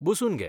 बसून घे.